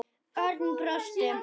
Örn brosti.